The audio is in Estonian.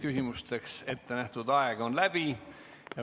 Küsimusteks ettenähtud aeg on läbi.